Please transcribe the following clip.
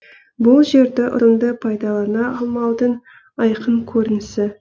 бұл жерді ұтымды пайдалана алмаудың айқын көрінісі